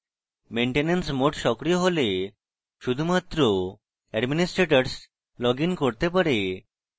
maintenance mode সক্রিয় থাকলে শুধুমাত্র administrators লগইন করতে পারে